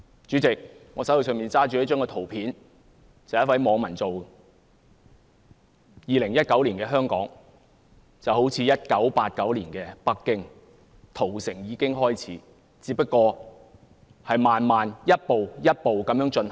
主席，我手上拿着的圖片是由一位網民製作的，顯示2019年的香港便好像1989年的北京般，屠城已經開始，只是慢慢逐步地進行。